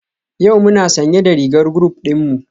Yau muna sanye da rigar group dinmu?